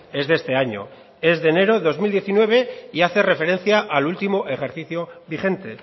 es de este año es de enero de dos mil diecinueve y hace referencia al último ejercicio vigente